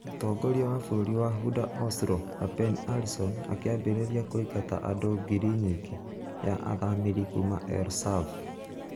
Mũtongoria wa bũrũri wa Honder Oslo Lapen Arison akĩambĩrĩria kũingata andũ ngiri nyingĩ ya athamĩri kuma El Sav.